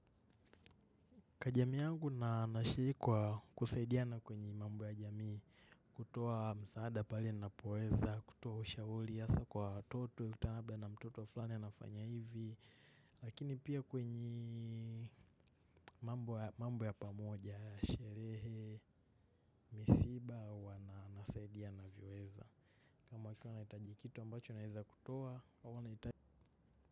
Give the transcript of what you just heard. Katika jamii yangu ninashiriki kwa kusaidiana kwenye mambo ya jamii, kutoa msaada pale ninapoweza, kutoa ushauri hasa kwa watoto, unakutana labda na mtoto wa fulani anafanya hivi. Lakini pia kwenye, mambo ya pamoja, sherehe, misiba, huwanasaidia ninavyoweza. Kama wakiwa wanahitaji kitu ambacho ninaweza kutoa au wanahitaji,